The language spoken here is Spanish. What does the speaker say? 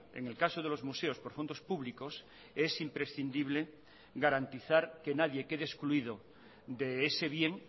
en el caso de los museos por fondos públicos es imprescindible garantizar que nadie quede excluido de ese bien